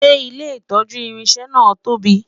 ṣé ilé itọju irinṣẹ na tóbi?